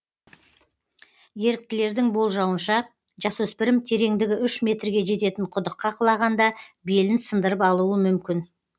еріктілердің болжауынша жасөспірім тереңдігі үш метрге жететін құдыққа құлағанда белін сындырып алуы мүмкін